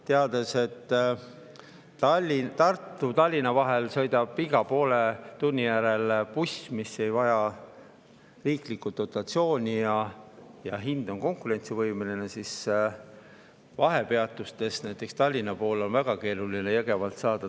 Tean, et Tallinna-Tartu-Tallinna sõidab iga poole tunni järel buss, mis ei vaja riiklikku dotatsiooni ja mille hind on konkurentsivõimeline, aga vahepeatustest, näiteks Jõgevalt, on Tallinna poole väga keeruline saada.